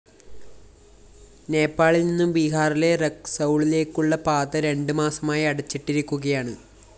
നേപ്പാളില്‍ നിന്നും ബിഹാറിലെ റക്‌സൗളിലേക്കുള്ള പാത രണ്ട് മാസമായി അടച്ചിട്ടിരിക്കുകയാണ്